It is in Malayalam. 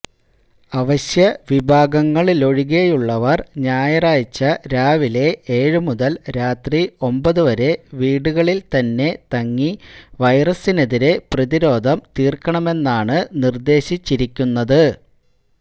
അവശ്യവിഭാഗങ്ങളിലൊഴികെയുള്ളവര് ഞായറാഴ്ച രാവിലെ ഏഴുമുതല് രാത്രി ഒമ്ബതുവരെ വീടുകളില്ത്തന്നെ തങ്ങി വൈറസിനെതിരെ പ്രതിരോധം തീർക്കണമെന്നാണ് നിര്ദേശിച്ചിരിക്കുന്നത്